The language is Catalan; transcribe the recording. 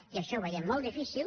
i això ho veiem molt difícil